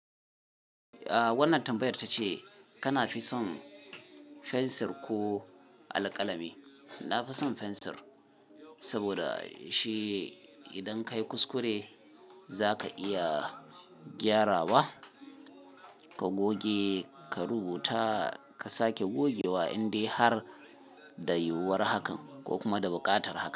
A wannan tambayar tace kana fi son fensir ko alƙalami. Na fi son fensir saboda shi idan ka yi kuskure zaka iya gyarawa, ka goge, ka rubuta, ka sake goge wa'indi har da yiwuwar hakan ko kuma da buƙatar hakan.